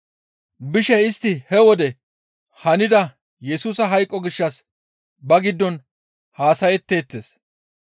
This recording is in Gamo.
Bishe istti he wode hanida Yesusa hayqo gishshas ba giddon haasayetteettes.